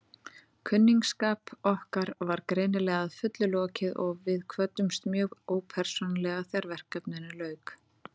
Kunningsskap okkar var greinilega að fullu lokið og við kvöddumst mjög ópersónulega þegar verkefninu lauk.